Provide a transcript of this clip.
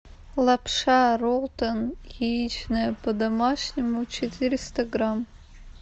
лапша ролтон яичная по домашнему четыреста грамм